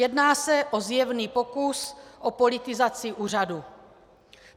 Jedná se o zjevný pokus o politizaci úřadu.